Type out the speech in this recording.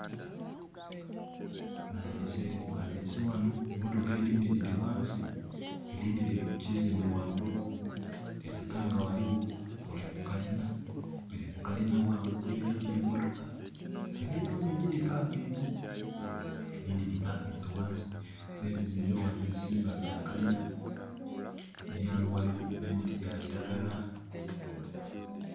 Balese wano emotoka edindi diri wansi edindi diri kukizimbe wangulu. Diraga nga waliwo diri kukalina wangulu emotoka. Diriyo ningi di parkinze, edindi di parkinze wansi ne bizimbe ebisinga bya kalina. Mperani wano waliwo ne miti gya kiragala.